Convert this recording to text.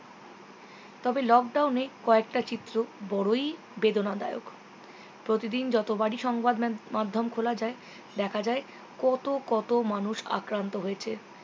তবে lockdown এ কয়েকটা চিত্র বড়োই বেদনাদায়ক প্রতিদিন যতোবারই সংবাদ মান~ মাধ্যম খোলা যায় দেখা যায় কতো কতো মানুষ আক্রান্ত হয়েছে